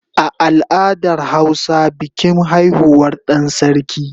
A al'adar hausa bikin haihuwar dan sarki